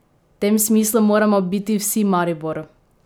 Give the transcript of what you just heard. V tem smislu moramo biti vsi Maribor!